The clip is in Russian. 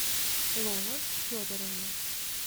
лола федоровна